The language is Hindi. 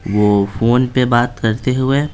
वो फोन पे बात करते हुए--